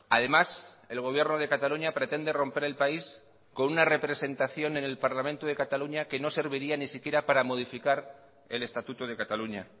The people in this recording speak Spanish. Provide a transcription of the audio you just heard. además el gobierno de cataluña pretende romper el país con una representación en el parlamento de cataluña que no serviría ni siquiera para modificar el estatuto de cataluña